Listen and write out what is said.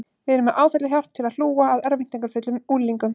Við erum með áfallahjálp til að hlúa að örvæntingarfullum unglingum.